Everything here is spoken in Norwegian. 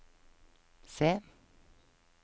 C